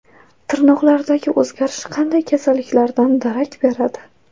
Tirnoqlardagi o‘zgarish qanday kasalliklardan darak beradi?.